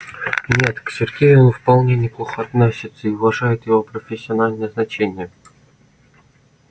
нет к сергею он вполне неплохо относится и уважает его профессиональные значения